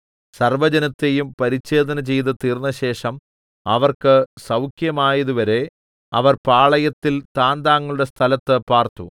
സർവ്വജനത്തെയും പരിച്ഛേദനചെയ്ത് തീർന്നശേഷം അവർക്ക് സൗഖ്യമായതുവരെ അവർ പാളയത്തിൽ താന്താങ്ങളുടെ സ്ഥലത്ത് പാർത്തു